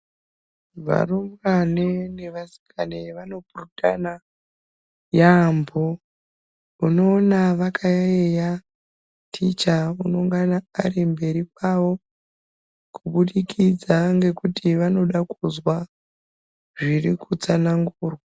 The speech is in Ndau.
Varumbwane nevasikana vanopurutane yaampo unoona vakayaiya ticha anongana ari mberi kwawo kubudikidza ngekuti vanoda kuzwa zviri kutsanangurwa.